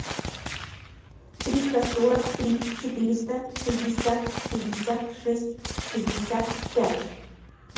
триста сорок три четыреста шестьдесят шестьдесят шесть шестьдесят пять